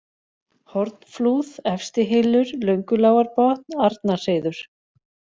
Hornflúð, Efstihylur, Löngulágarbotn, Arnarhreiður